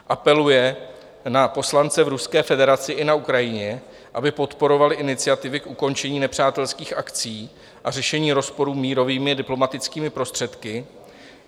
apeluje na poslance v Ruské federaci i na Ukrajině, aby podporovali iniciativy k ukončení nepřátelských akcí a řešení rozporů mírovými, diplomatickými prostředky;